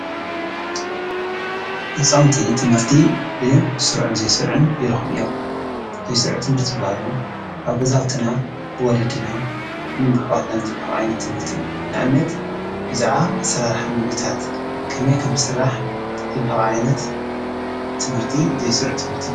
ህፃውንቲ ትምህርቲ ብስሩዕን ዘይስሩዕን ይረክቡ እዮም፡፡ ዘይስሩዕ ትምህርቲ ዝበሃሉ አብ ገዛውቲና ብወለዲናን ብአሕዋትናን ዝወሃብ ዓይነት ትምህርቲ እዩ፡፡ ንአብነት ብዛዕባ አሰራርሓ ምግቢታት ከመይ ከምዝስራሕ ዝወሃብ ዓይነት ትምህርቲ ዘይስሩዕ ትምህርቲ እዩ፡፡